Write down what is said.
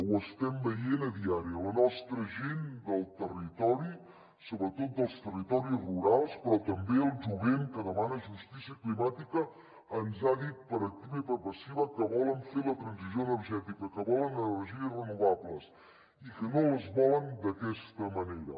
ho estem veient diàriament la nostra gent del territori sobretot dels territoris rurals però també el jovent que demana justícia climàtica ens han dit per activa i per passiva que volen fer la transició energètica que volen energies renovables i que no les volen d’aquesta manera